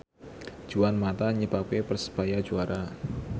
Juan mata nyebabke Persebaya juara